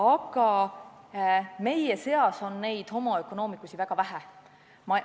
Aga meie seas on neid homo economicus'i väga vähe.